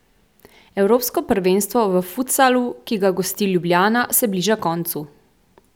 Evropsko prvenstvo v futsalu, ki ga gosti Ljubljana, se bliža koncu.